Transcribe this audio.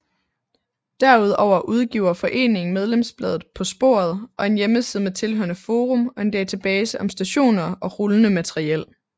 Derudover udgiver foreningen medlemsbladet På Sporet og en hjemmeside med tilhørende forum og en database om stationer og rullende materiel